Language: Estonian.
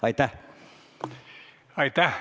Aitäh!